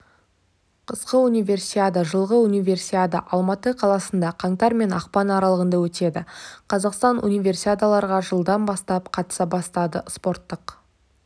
қысқы универсиада жылғы универсиада алматы қаласында қаңтар мен ақпанаралығындаөтеді қазақстан унивесиадаларға жылдан бастап қатыса бастады спорттық